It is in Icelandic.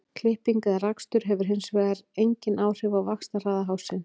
Klipping eða rakstur hefur hins vegar engin áhrif á vaxtarhraða hársins.